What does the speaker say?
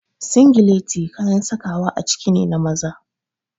Singileti kayan sakawa a ciki ne na maza.